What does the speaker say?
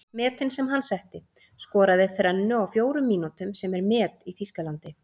Metin sem hann setti:- Skoraði þrennu á fjórum mínútum sem er met í Þýskalandi.